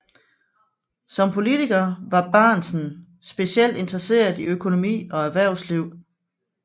Som politiker var Bahnsen specielt interesseret i økonomi og erhvervsliv